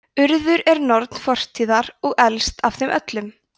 urður er norn fortíðar og elst af þeim öllum